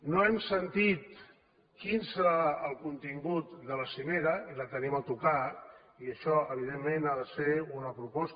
no hem sentit quin serà el contingut de la cimera i la tenim a tocar i això evidentment ha de ser una proposta